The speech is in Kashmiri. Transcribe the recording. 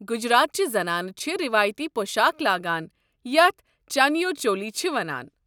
گجرات چہِ زنانہٕ چھِ روایتی پۄشاكھ لاگان یتھ چنیو چولی چھِ وَنان۔